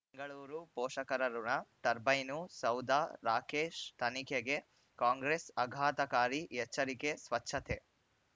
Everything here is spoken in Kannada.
ಬೆಂಗಳೂರು ಪೋಷಕರಋಣ ಟರ್ಬೈನು ಸೌಧ ರಾಕೇಶ್ ತನಿಖೆಗೆ ಕಾಂಗ್ರೆಸ್ ಆಘಾತಕಾರಿ ಎಚ್ಚರಿಕೆ ಸ್ವಚ್ಛತೆ